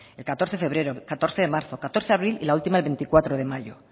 el catorce de febrero catorce de marzo catorce de abril y la última del veinticuatro de mayo